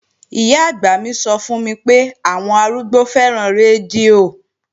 Ìyá-àgbà mi sọ fún mi pé àwọn àwọn arúgbó fẹ́ràn rédíò